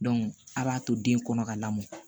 a b'a to den kɔnɔ ka lamɔ